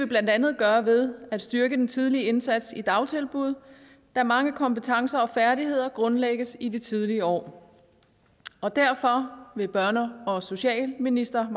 blandt andet gøre ved at styrke den tidlige indsats i dagtilbud da mange kompetencer og færdigheder grundlægges i de tidlige år derfor vil børne og socialministeren